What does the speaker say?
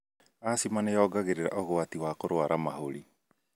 Asthama nĩyongagĩrĩra ũgwati wa kũrwara mahũri.